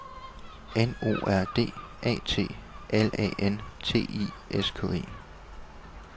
N O R D A T L A N T I S K E